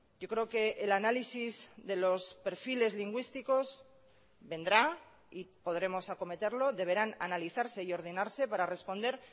yo creo que el análisis de los perfiles lingüísticos vendrá y podremos acometerlo deberán analizarse y ordenarse para responder